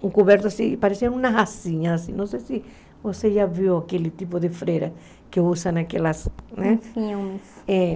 um coberto assim, pareciam umas asinhas, não sei se você já viu aquele tipo de freira que usam aquelas, né? Sim uns É